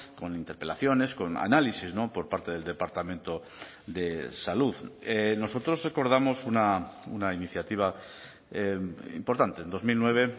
con interpelaciones con análisis por parte del departamento de salud nosotros recordamos una iniciativa importante en dos mil nueve